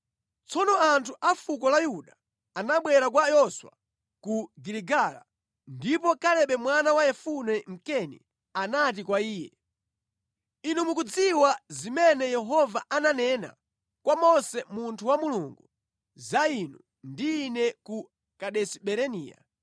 Tsono anthu a fuko la Yuda anabwera kwa Yoswa ku Giligala, ndipo Kalebe mwana wa Yefune Mkeni anati kwa iye, “Inu mukudziwa zimene Yehova ananena kwa Mose munthu wa Mulungu za inu ndi ine ku Kadesi Barinea.